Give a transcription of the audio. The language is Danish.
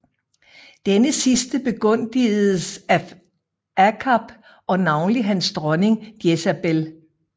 Denne sidste begunstigedes af Akab og navnlig hans dronning Jezabel